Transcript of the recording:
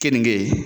Keninge